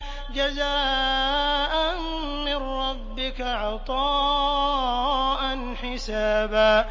جَزَاءً مِّن رَّبِّكَ عَطَاءً حِسَابًا